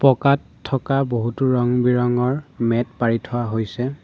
পকাত থকা বহুতো ৰং বিৰঙৰ মেট পাৰি থোৱা হৈছে।